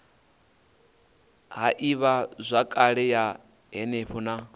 ha ivhazwakale ya henefho na